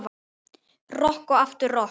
Rokk og aftur rokk.